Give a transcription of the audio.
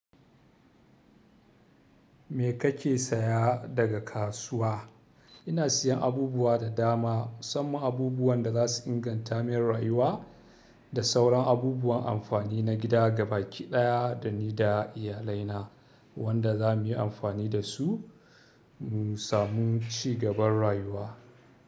Me kake saya daga kasuwa? Ina siyan abubuwa da dama, musamman abubuwan da za su ingantamin rayuwa da sauran abubuwan amfani na gida ga baki ɗaya da ni da iyalaina wanda za mu yi amfani da su mu samu ci gaban rayuwa.